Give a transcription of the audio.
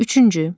Üçüncü.